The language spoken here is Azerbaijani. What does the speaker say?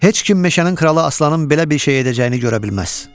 Heç kim meşənin kralı Aslanın belə bir şey edəcəyini görə bilməz.